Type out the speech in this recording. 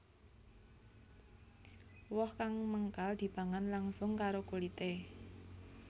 Woh kang mengkal dipangan langsung karo kulité